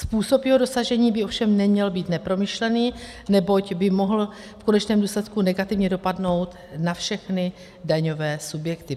Způsob jeho dosažení by ovšem neměl být nepromyšlený, neboť by mohl v konečném důsledku negativně dopadnout na všechny daňové subjekty.